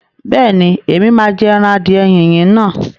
Bẹ́ẹ̀ni, Ẹ̀mí máa jẹ ẹran adìẹ yíyin náà.